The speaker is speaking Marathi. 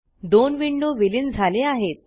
दोन विंडो विलीन झाले आहेत